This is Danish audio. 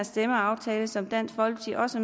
stemmeaftale som dansk folkeparti også